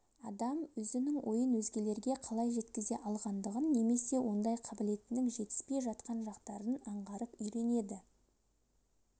адам өзінің ойын өзгелерге қалай жеткізе алғандығын немесе ондай қабілетінің жетіспей жатқан жақтарын аңғарып үйренеді